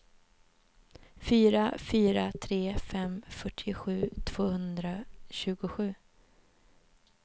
fyra fyra tre fem fyrtiosju tvåhundratjugosju